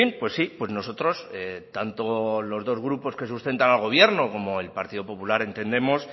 pues sí pues nosotros tanto los dos grupos que sustentan al gobierno como el partido popular entendemos